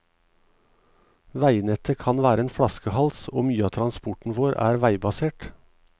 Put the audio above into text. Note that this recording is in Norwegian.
Veinettet kan være en flaskehals, og mye av transporten vår er veibasert.